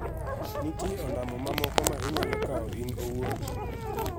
Nitie ondamo mamoko ma inyalo kawo in owuon.